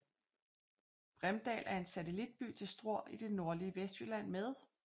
Bremdal er en satellitby til Struer i det nordlige Vestjylland med